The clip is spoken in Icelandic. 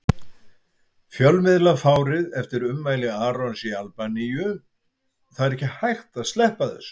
Fjölmiðlafárið eftir ummæli Arons í Albaníu Það er ekki hægt að sleppa þessu.